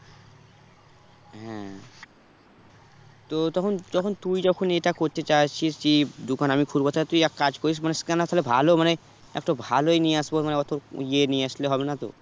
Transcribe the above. হ্যাঁ তো তখন যখন তুই যখন এটা করতে চাইতিছিস যে দোকান আমি খুলবো তাহলে তুই এক কাজ করিস মানে scanner তাহলে ভালো মানে একটা ভালোই নিয়ে আসবো মানে অত ওই ইয়ে নিয়ে আসলে হবে না তো?